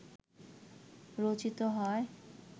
রচিত হয়